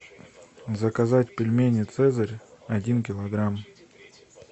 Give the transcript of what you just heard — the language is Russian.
заказать пельмени цезарь один килограмм